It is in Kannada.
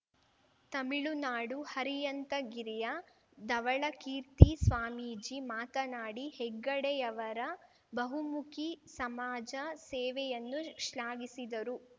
ತಮಿಳುನಾಡು ಹರಿಯಂತಗಿರಿಯ ಧವಳಕೀರ್ತಿ ಸ್ವಾಮೀಜಿ ಮಾತನಾಡಿ ಹೆಗ್ಗಡೆಯವರ ಬಹುಮುಖಿ ಸಮಾಜ ಸೇವೆಯನ್ನು ಶ್ಲಾಘಿಸಿದರು